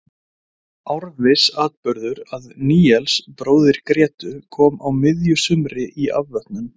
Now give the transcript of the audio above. Árviss atburður að Níels bróðir Grétu kom á miðju sumri í afvötnun.